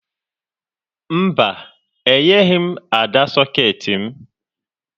Mba, enyeghi m Ada sọkeetị m